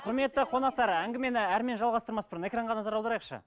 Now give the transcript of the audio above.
құрметті қонақтар әңгімені әрмен жалғастырмас бұрын экранға назар аударайықшы